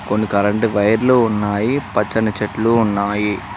రొండు కరెంటు వైర్లు ఉన్నాయి పచ్చని చెట్లు ఉన్నాయి.